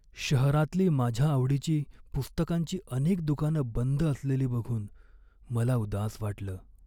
शहरातली माझ्या आवडीची पुस्तकांची अनेक दुकानं बंद असलेली बघून मला उदास वाटलं.